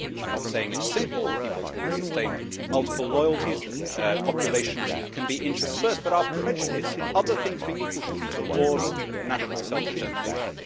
I am not saying it is simple. People can sustain multiple loyalties, populations can be interspersed, but our prejudice, other things being equal, should be towards national self determination.